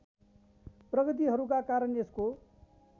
प्रगतिहरूका कारण यसको